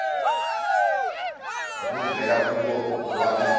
obuvela kubo bobabili